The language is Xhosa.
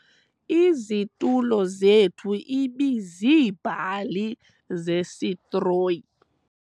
Izitulo zethu ibiziibhali zesitroyi.